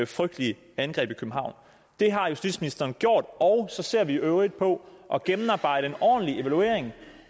frygtelige angreb i københavn det har justitsministeren gjort og så ser vi i øvrigt på at gennemarbejde en ordentlig evaluering